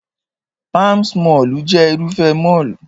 Palms mọ́ọ̀lù jẹ́ Irúfẹ́ mọ́ọ̀lù